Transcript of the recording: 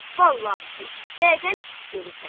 vallahı ki, vəziyyəti pis görürsən.